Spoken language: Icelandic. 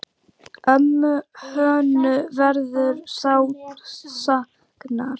Ömmu Hönnu verður sárt saknað.